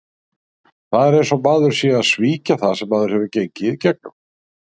Það er eins og maður sé að svíkja það sem maður hefur gengið í gegnum.